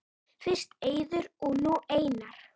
Fyrst Eiður og nú Einar??